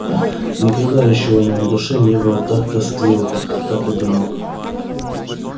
никогда ещё у него на душе не было так тоскливо так одиноко